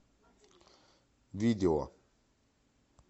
видео